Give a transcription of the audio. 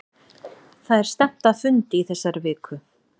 Það er stefnt að fundi í þessari viku.